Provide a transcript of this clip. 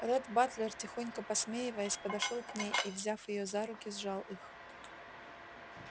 ретт батлер тихонько посмеиваясь подошёл к ней и взяв её за руки сжал их